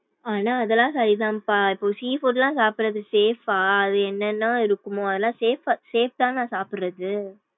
ஆனா அதுலாம் சரிதான்பா இப்போ sea food லாம் சாப்டறது safe பா அது என்ன என்ன இருக்கும்மோ அதுலாம் safe safe தான்னா சாப்டறது.